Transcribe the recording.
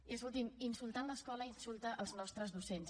i escolti’m insultant l’escola insulta els nostres docents